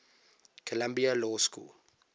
columbia law school